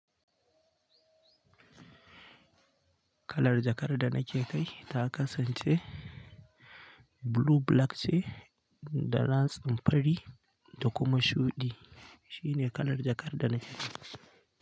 Kalar jakar da nake kai ta kasance blue black ce da ratsin fari da kuma shuɗi. Shine kalar jakar da nake kai.